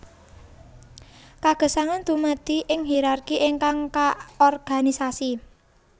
Kagesangan dumadi ing hirarki ingkang kaorganisasi